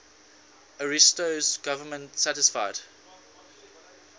ariosto's government satisfied